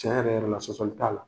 Tiɲɛ yɛrɛ-yɛrɛ la sɔsɔli t'a la.